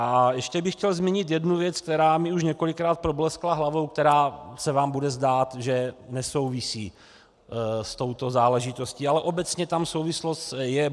A ještě bych chtěl zmínit jednu věc, která mi už několikrát probleskla hlavou, která se vám bude zdát, že nesouvisí s touto záležitostí, ale obecně tam souvislost je.